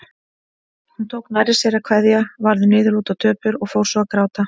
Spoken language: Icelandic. Hún tók nærri sér að kveðja, varð niðurlút og döpur og fór svo að gráta.